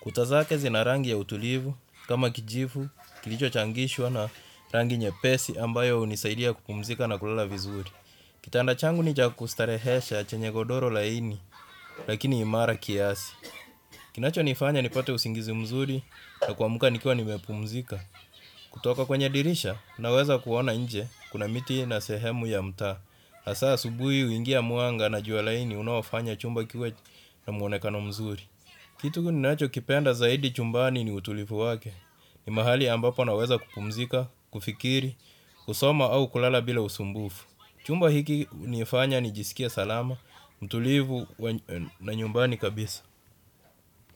Kuta zake zina rangi ya utulivu, kama kijivu, kilicho changishwa na rangi nyepesi ambayo unisaidia kupumzika na kulala vizuri. Kitanda changu ni cha kustarehesha chenye godoro laini, lakini imara kiasi. Kinacho nifanya nipate usingizi mzuri na kuamka nikiwa nimepumzika. Kutoka kwenye dirisha, naweza kuona nje kuna miti na sehemu ya mtaa. Hasa asubuhi uingia mwanga na jua laini unaofanya chumba kiwe na mwonekano mzuri. Kitu ninacho kipenda zaidi chumbani ni utulivu wake. Ni mahali ambapo naweza kupumzika, kufikiri, kusoma au kulala bila usumbufu. Chumba hiki nifanya nijisikie salama, utulivu na nyumbani kabisa.